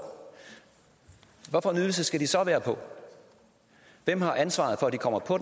og ydelse skal de så være på hvem har ansvaret for at de kommer på